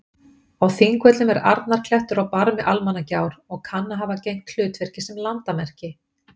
Á Þingvöllum er Arnarklettur á barmi Almannagjár og kann að hafa gegnt hlutverki sem landamerki.